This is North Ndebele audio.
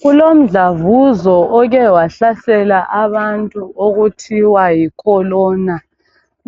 kulomdlavuzo oke wahlahlela abantu okuthiwa yi corona